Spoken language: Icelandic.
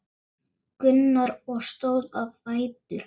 Gunnar og stóð á fætur.